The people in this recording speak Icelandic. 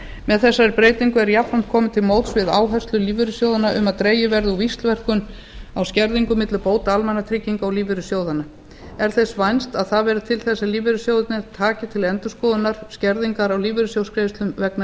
með þessari breytingu er jafnframt komið til móts við áherslur lífeyrissjóðanna um að dregið verði úr víxlverkun á skerðingum milli bóta almannatrygginga og lífeyrissjóðanna er þess vænst að það verði til þess að lífeyrissjóðirnir taki til endurskoðunar skerðingar á lífeyrissjóðsgreiðslum vegna